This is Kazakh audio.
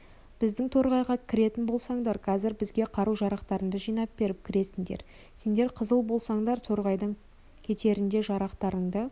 біздің торғайға кіретін болсаңдар қазір бізге қару-жарақтарыңды жинап беріп кіресіңдер сендер қызыл болсаңдар торғайдан кетерінде жарақтарыңды